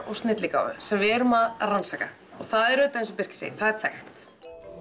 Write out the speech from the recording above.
og snilligáfu sem við erum að rannsaka og það er eins og Birkir segir þekkt